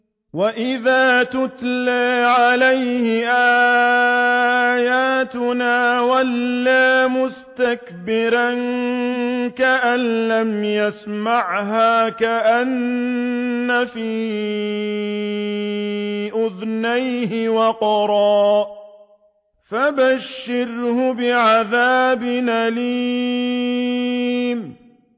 وَإِذَا تُتْلَىٰ عَلَيْهِ آيَاتُنَا وَلَّىٰ مُسْتَكْبِرًا كَأَن لَّمْ يَسْمَعْهَا كَأَنَّ فِي أُذُنَيْهِ وَقْرًا ۖ فَبَشِّرْهُ بِعَذَابٍ أَلِيمٍ